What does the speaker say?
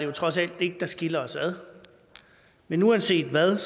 jo trods alt ikke der skiller os ad men uanset hvad